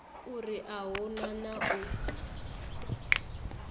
uri u hu na u